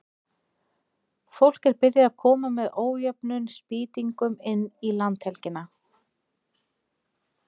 Fólk er byrjað að koma með ójöfnum spýtingum inn í landhelgina.